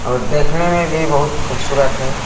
और देखने में भी बहुत खूबसूरत है।